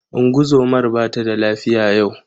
Ungozomar ba tada lafiya yau.